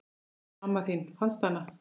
En mamma þín, fannstu hana?